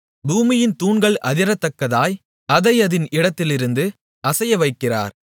பூமியின் தூண்கள் அதிரத்தக்கதாய் அதை அதின் இடத்திலிருந்து அசையவைக்கிறார்